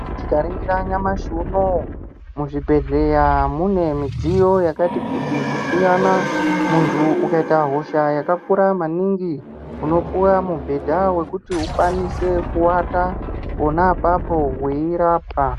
Tikaringira nyamashi unou muzvibhedhleya mune midziyo yakati kuti kusiyana munthu ukaita hosha yakakura maningi unopuwa mubhedha wekuti ukwanise kuwata pona apapo weirapwa.